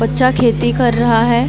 बच्चा खेती कर रहा है।